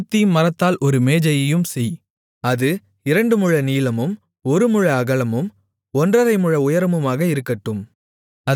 சீத்திம் மரத்தால் ஒரு மேஜையையும் செய் அது இரண்டு முழ நீளமும் ஒரு முழ அகலமும் ஒன்றரை முழ உயரமுமாக இருக்கட்டும்